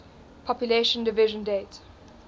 population division date